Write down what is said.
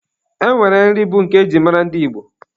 E nwere nri bụ nke e ji mara ndị Igbo.